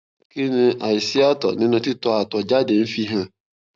kí ni aisi atọ ninu titọ atọ jáde ń fi hàn